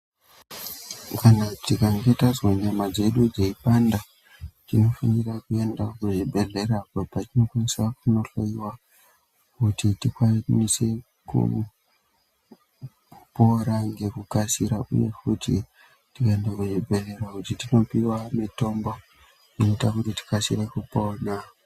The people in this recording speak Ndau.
Kana tikange tazwa nyama dzedu dzeipanda. Tinofanira kuenda kuzvibhedhleya apo patinokwanisa kunohloiwa kuti tikwanise kupora ngekukasira, uye futi tikaenda kuchibhedhlera kuti tinopiva mitombo inoita kuti tikasire kupona.